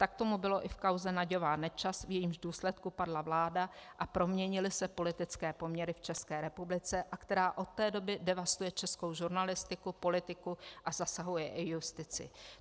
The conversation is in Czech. Tak tomu bylo i v kauze Nagyová-Nečas, v jejímž důsledku padla vláda a proměnily se politické poměry v České republice a která od té doby devastuje českou žurnalistiku, politiku a zasahuje i justici.